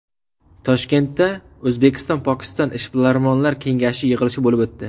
Toshkentda O‘zbekistonPokiston ishbilarmonlar kengashi yig‘ilishi bo‘lib o‘tdi.